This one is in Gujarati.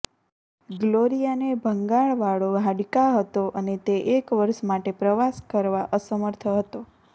ગ્લોરિયાને ભંગાણવાળો હાડકા હતો અને તે એક વર્ષ માટે પ્રવાસ કરવા અસમર્થ હતો